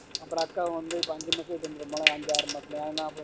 அப்பறம் அக்காவும் வந்து இப்போ ஐந்து மாசத்துல சேந்துரும்ல ஐந்து ஆறு மாசத்துல அதான் நா போறேன்